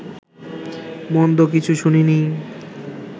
মন্দ কিছু শুনিনি